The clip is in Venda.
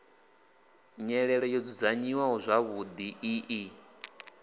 nyelelo yo dzudzanyiwaho zwavhuḓi i